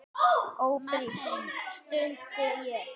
Ófrísk? stundi ég.